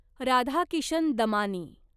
Radhakishan Damani